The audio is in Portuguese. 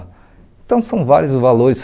Então são vários valores.